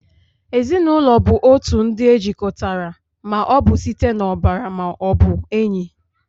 Ezinụlọ bụ otu ndị e jikọtara ma ọ bụ site n'ọbara ma ọ bụ enyi